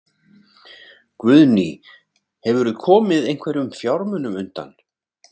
Guðný: Hefurðu komið einhverjum fjármunum undan?